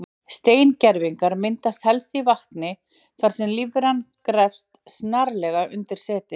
Steingervingar myndast helst í vatni þar sem lífveran grefst snarlega undir seti.